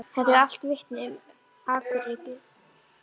Þetta eru allt vitni um akuryrkju.